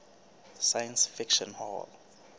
science fiction hall